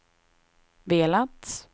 velat